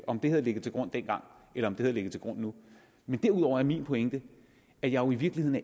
om det har ligget til grund dengang eller om det ligger til grund nu derudover er min pointe at jeg jo i virkeligheden